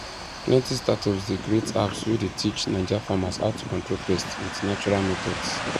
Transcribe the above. plenty startups dey create apps wey dey teach naija farmers how to control pests with natural methods